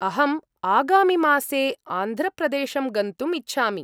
अहम् आगामिमासे आन्ध्रप्रदेशं गन्तुम् इच्छामि।